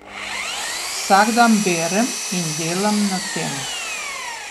Vsak dan berem in delam na tem.